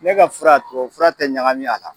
Ne ka fura tuwawu fura tɛ ɲagami a la.